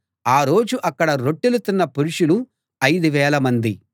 ఆ రోజు అక్కడ రొట్టెలు తిన్న పురుషులు ఐదు వేల మంది